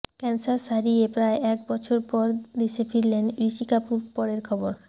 cancer সারিয়ে প্রায় এক বছর পর দেশে ফিরলেন ঋষি কাপুর পরের খবর